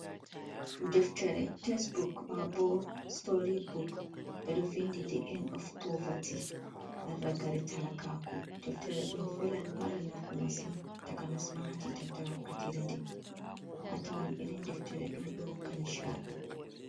Deftere tesebuk maa bo story book, ɓe ɗo windi ɗi en n of poverty (rragare talakaaku) deftere ɗo'o velan mara nafu masin takanas ma haa tiitanta wakkatiire nde'e a tawan irin deftere ɗoo ɗo hokka ni chaɗi.